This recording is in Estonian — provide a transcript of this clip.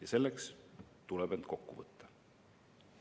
Aga selleks tuleb end kokku võtta.